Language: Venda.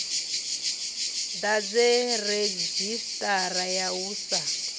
ḓadze redzhisiṱara ya u sa